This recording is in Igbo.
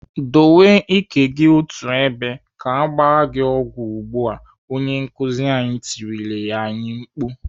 "Dowe ike gị otú ebe ka agba gị ọgwụ ugbu a!" Onye nkuzi tirila anyị mkpu.